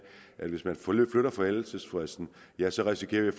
at hvis man flytter forældelsesfristen ja så risikerer vi